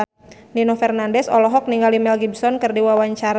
Nino Fernandez olohok ningali Mel Gibson keur diwawancara